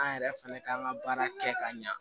An yɛrɛ fana k'an ka baara kɛ ka ɲa